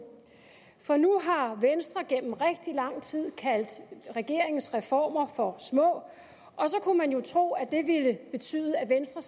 for nu har venstre igennem rigtig lang tid kaldt regeringens reformer for små og så kunne man jo tro at det ville betyde at venstre